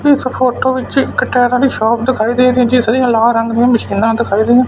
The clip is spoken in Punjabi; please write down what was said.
ਇਸ ਫ਼ੋਟੋ ਵਿੱਚ ਇੱਕ ਟਾਇਰਾਂ ਦੀ ਸ਼ੌਪ ਦਿਖਾਈ ਗਈ ਏ ਦੀ ਜਿਸ ਦੀਆਂ ਲਾਲ ਰੰਗ ਦੀਆਂ ਮਸ਼ੀਨਾਂ ਦਿਖਾਈ ਗਈਆਂ--